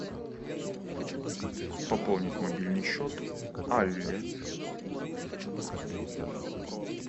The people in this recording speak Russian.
пополнить мобильный счет алле